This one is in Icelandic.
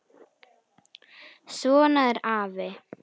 Svona er afi.